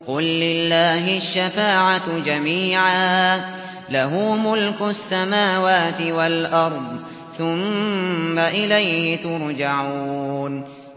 قُل لِّلَّهِ الشَّفَاعَةُ جَمِيعًا ۖ لَّهُ مُلْكُ السَّمَاوَاتِ وَالْأَرْضِ ۖ ثُمَّ إِلَيْهِ تُرْجَعُونَ